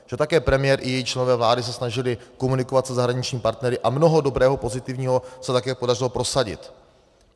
Že také premiér i její členové vlády se snažili komunikovat se zahraničními partnery a mnoho dobrého pozitivního se také podařilo prosadit.